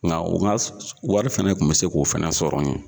Nka o nask wari fɛnɛ kun bɛ se k'o fɛnɛ kun bɛ se ko fɛnɛ sɔrɔ n ye.